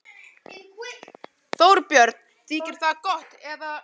Þorbjörn: Þykir það gott, eða?